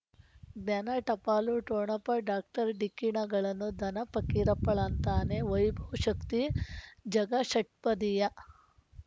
ದನ ಟಪಾಲು ಠೊಣಪ ಡಾಕ್ಟರ್ ಢಿಕ್ಕಿ ಣಗಳನು ಧನ ಫಕೀರಪ್ಪ ಳಂತಾನೆ ವೈಭವ್ ಶಕ್ತಿ ಝಗಾ ಷಟ್ಪದಿಯ